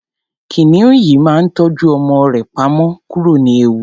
kìnìún yìí máa ń tọ́jú ọmọ rẹ pamọ́ kúrò ní ewu